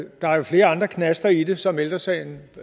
der er jo flere andre knaster i det som ældre sagen